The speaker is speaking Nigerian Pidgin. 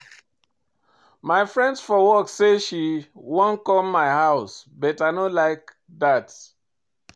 My friend for work say she wan come my house but I no like dat.